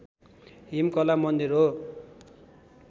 हिमकला मन्दिर हो